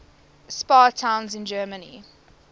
spa towns in germany